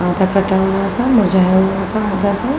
आधा कटा हुआ सा मुरझाया हुआ सा अंदर से --